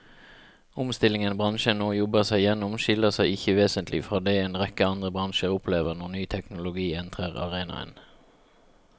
Omstillingen bransjen nå jobber seg gjennom skiller seg ikke vesentlig fra det en rekke andre bransjer opplever når ny teknologi entrer arenaen.